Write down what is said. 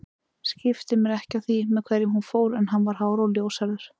Skipti mér ekki af því með hverjum hún fór en hann var hár og ljóshærður